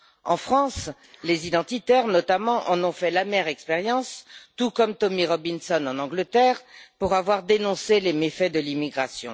En France, les identitaires notamment en ont fait l'amère expérience, tout comme Tommy Robinson en Angleterre, pour avoir dénoncé les méfaits de l'immigration.